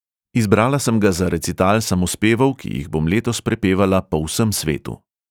Izbrala sem ga za recital samospevov, ki jih bom letos prepevala po vsem svetu.